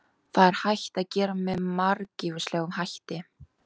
Það er hægt að gera með margvíslegum hætti.